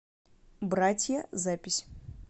братья запись